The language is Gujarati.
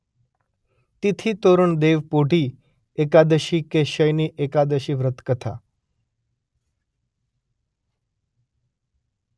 તિથીતોરણ દેવપોઢી એકાદશી કે શયની એકાદશી વ્રત કથા